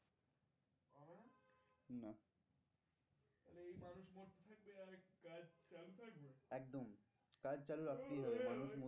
কাজ চালু রাখতেই হবে মানুষ মরুক